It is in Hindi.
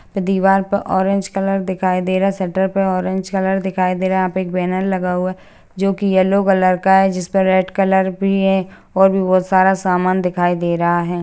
दीवाल पर ऑरेंज कलर दिखाई दे रहा हैं शटर पे ऑरेंज कलर दिखाई दे रहा यहाँ पे एक बैनर लगा हुआ जोकी येलो कलर का हैं जिसमे रेड कलर भी हैं और भी बहोत सारा सामान दिखाई दे रहा हैं।